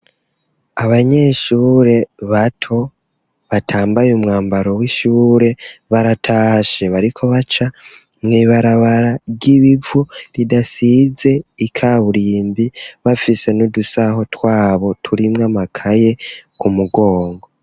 Abanyeshure bato batambaye umwambaro w'ishure baratashe bariko baca Mwibarabara ry'ibivu ridasize ikaburimbi bafise n'udusaho twabo turimwa makaye ku mugongo.